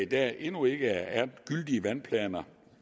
der endnu ikke er gyldige vandplaner